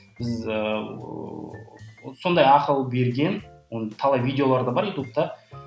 біз ыыы сондай ақыл берген оның талай видеолары да бар ютубта